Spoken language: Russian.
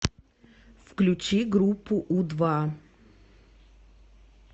включи группу у два